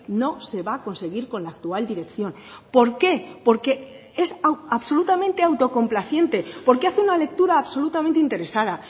no se va a conseguir con la actual dirección por qué porque es absolutamente autocomplaciente porque hace una lectura absolutamente interesada